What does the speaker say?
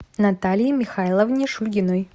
наталье михайловне шульгиной